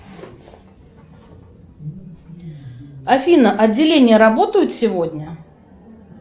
афина отделения работают сегодня